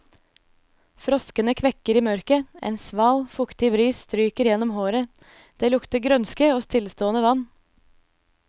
Froskene kvekker i mørket, en sval, fuktig bris stryker gjennom håret, det lukter grønske og stillestående vann.